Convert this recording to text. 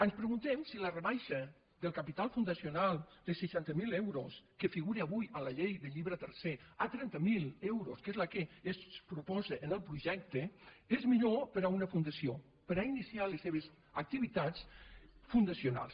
ens preguntem si la rebaixa del capital fundacional de seixanta mil euros que figura avui en la llei del llibre tercer a trenta mil euros que és el que es proposa en el projecte és millor per a una fundació per a iniciar les seves activitats fundacionals